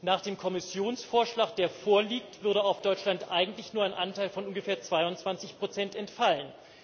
Nach dem Kommissionsvorschlag, der vorliegt, würde auf Deutschland eigentlich nur ein Anteil von ungefähr 22 entfallen.